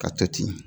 Ka to ten